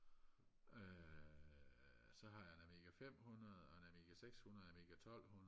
øh så har jeg en amiga femhundrede og en amiga sekshundrede og en amiga tolvhundrede